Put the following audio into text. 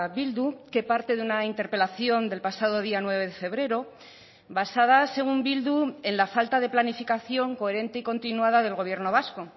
bildu que parte de una interpelación del pasado día nueve de febrero basada según bildu en la falta de planificación coherente y continuada del gobierno vasco